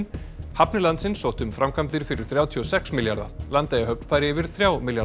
hafnir landsins sóttu um framkvæmdir fyrir þrjátíu og sex milljarða Landeyjahöfn fær yfir þrjá milljarða